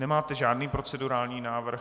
Nemáte žádný procedurální návrh?